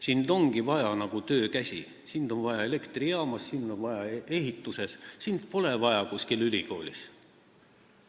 Sind ongi vaja ainult seal, kus on vaja töökäsi, sind on vaja elektrijaamas, sind on vaja ehitusel, sind pole vaja kuskil ülikoolis.